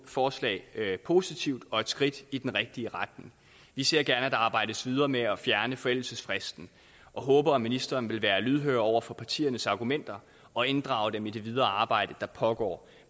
forslag positivt og et skridt i den rigtige retning vi ser gerne at der arbejdes videre med at fjerne forældelsesfristen og håber at ministeren vil være lydhør over for partiernes argumenter og inddrage dem i det videre arbejde der pågår